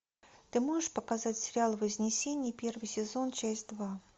ты можешь показать сериал вознесение первый сезон часть два